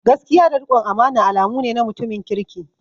Gaskiya da rikon amana alamu ne na mutumin kirki.